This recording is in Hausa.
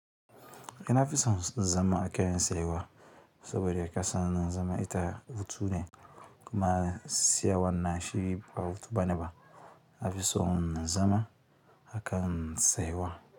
Ina fi son zama a kan saiwa saboda ya kasa na zama ita hutu ne kuma saiwan na shiri ba wuta ba ne ba. A fi son zama a kan saiwa.